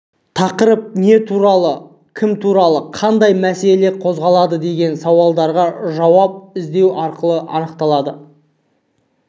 тақырып не туралы кім туралы қандай мәселе қозғалады деген сауалдарға жауап іздеу арқылы анықталады